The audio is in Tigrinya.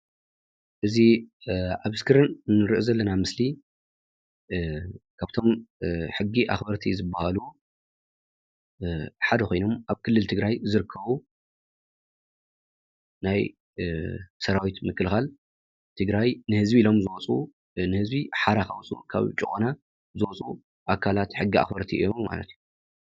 እዚ ኣብ እስክሪን እንሪኦ ዘለና ምስሊ ካብቶም ሕጊ ኣክበርቲ ዝባሃሉ ሓደ ኮይኖም ኣብ ክልል ትግራይ ዝርከቡ ናይ ሰራዊት ምክልኻል ትግራይ ንህዝቢ ኢሎም ዝወፁ ንህዝቢ ሓራ ከውፅኡ ካብ ጭቆና ዘውፅኡ ኣካላት ሕጊ ኣክበርቲ እዮም ማለት እዩ፡፡